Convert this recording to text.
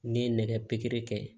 N'i ye nɛgɛ pikiri kɛ